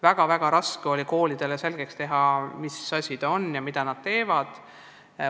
Väga-väga raske oli koolidele selgeks teha, mis asi see on ja mida nad teevad.